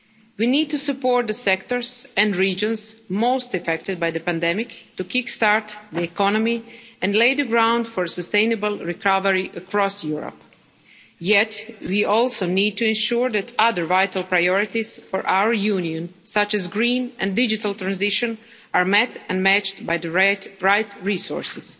We need to support the sectors and regions most affected by the pandemic to kick start the economy and lay the ground for a sustainable recovery across Europe. Yet we also need to ensure that other vital priorities for our Union, such as the green and digital transition, are met and matched by the right resources.